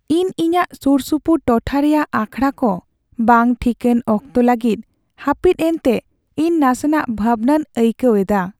ᱤᱧ ᱤᱧᱟᱹᱜ ᱥᱩᱨᱥᱩᱯᱩᱨ ᱴᱚᱴᱷᱟ ᱨᱮᱭᱟᱜ ᱟᱠᱷᱲᱟ ᱠᱚ ᱵᱟᱝ ᱴᱷᱤᱠᱟᱹᱱ ᱚᱠᱛᱚ ᱞᱟᱹᱜᱤᱫ ᱦᱟᱹᱯᱤᱫ ᱮᱱᱛᱮ ᱤᱧ ᱱᱟᱥᱮᱱᱟᱜ ᱵᱷᱟᱵᱽᱱᱟᱧ ᱟᱹᱭᱠᱟᱹᱣ ᱮᱫᱟ ᱾